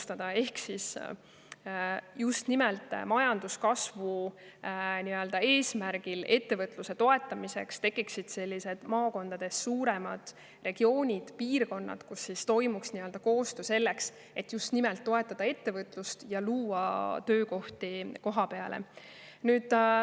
Tahame, et just nimelt majanduskasvu eesmärgil, ettevõtluse toetamiseks tekiksid maakondades suuremad regioonid, piirkonnad, kus toimuks koostöö selleks, et toetada ettevõtlust ja luua töökohti kohapeale.